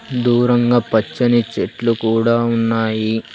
దూరంగా పచ్చని చెట్లు కూడా ఉన్నాయి.